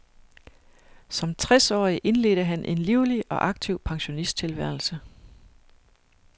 Som tres årig indledte han en livlig og aktiv pensionisttilværelse.